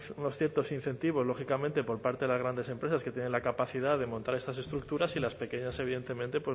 unos ciertos incentivos lógicamente por parte de las grandes empresas que tienen la capacidad de montar estas estructuras y las pequeñas evidentemente